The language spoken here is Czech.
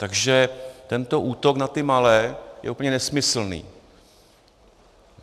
Takže tento útok na ty malé je úplně nesmyslný.